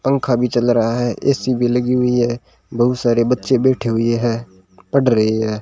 पंखा भी चल रहा है ए_सी भी लगी हुई है बहुत सारे बच्चे बैठे हुए है पढ़ रहे है।